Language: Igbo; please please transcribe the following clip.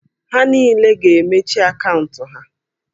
Ha niile ga-emechi akaụntụ ha!